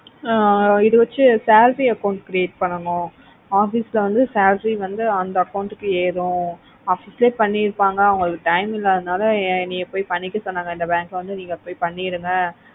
ஆஹ் இது வெச்சி salary account create பண்ணுனோம் office ல வந்து salary வந்து அந்த account க்கு ஏறும் office லய பண்ணிருப்பாங்க அவங்களுக்கு time எல்லாததுனால யா நீங்க பொய் பண்ணிக்கோங்க சொன்னாங்க இந்த bank ல பொய் பண்ணிருங்கா